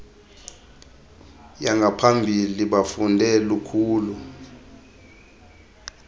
yangaphambili bafunde lukhulu